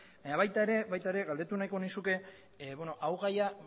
baina baita ere galdetu nahiko nizuke gai hau